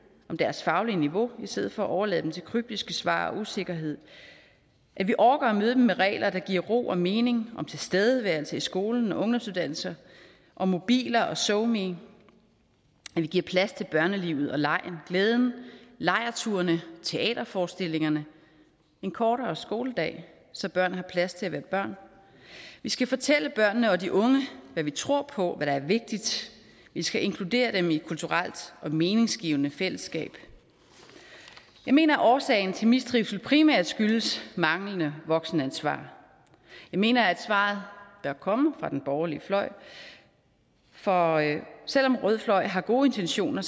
om deres faglige niveau i stedet for at overlade dem til kryptiske svar og usikkerhed at vi orker at møde dem med regler der giver ro og mening om tilstedeværelse i skolen og på ungdomsuddannelser om mobiler og so me at vi giver plads til børnelivet og legen og glæden lejrturene teaterforestillingerne en kortere skoledag så børn har plads til at være børn vi skal fortælle børnene og de unge hvad vi tror på hvad der er vigtigt vi skal inkludere dem i kulturelt og meningsgivende fællesskab jeg mener at årsagen til mistrivsel primært skyldes manglende voksenansvar jeg mener at svaret bør komme fra den borgerlige fløj for selv om rød fløj har gode intentioner